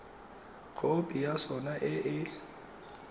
khopi ya sona e e